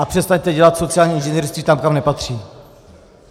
A přestaňte dělat sociální inženýrství tam, kam nepatří.